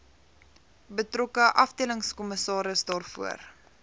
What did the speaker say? betrokke afdelingskommissaris daarvoor